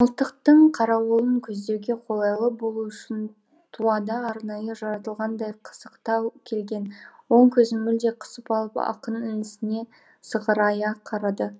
мылтықтың қарауылын көздеуге қолайлы болу үшін туада арнайы жаратылғандай қысықтау келген оң көзін мүлде қысып алып ақын інісіне сығырая қарады